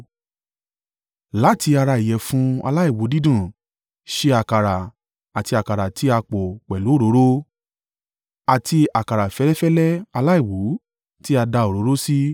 Láti ara ìyẹ̀fun aláìwú dídùn, ṣe àkàrà àti àkàrà tí a pò pẹ̀lú òróró, àti àkàrà fẹ́lẹ́fẹ́lẹ́ aláìwú tí a da òróró sí.